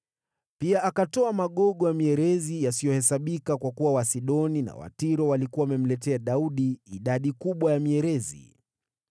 Pia akatoa magogo ya mierezi yasiyohesabika, kwa kuwa Wasidoni na Watiro walikuwa wamemletea Daudi idadi kubwa ya mierezi.